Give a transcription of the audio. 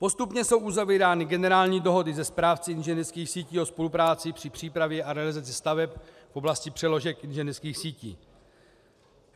Postupně jsou uzavírány generální dohody se správci inženýrských sítí o spolupráci při přípravě a realizaci staveb v oblasti přeložek inženýrských sítí.